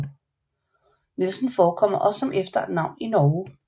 Nielsen forekommer også som efternavn i Norge